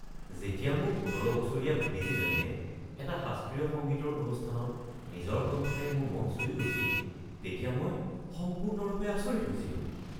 যেতিয়া মোৰ ১৭ বছৰীয়া ভতিজীজনীয়ে এটা শাস্ত্ৰীয় সংগীতৰ অনুষ্ঠানত নিজৰ কণ্ঠৰে মোৰ মন চুই গৈছিল তেতিয়া মই সম্পূৰ্ণৰূপে আচৰিত হৈছিলোঁ।